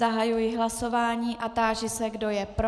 Zahajuji hlasování a táži se, kdo je pro?